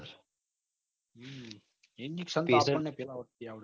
injection તો આપણ ને પેલા વર્ષ થી આવડે છે